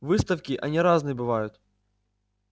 выставки они разные бывают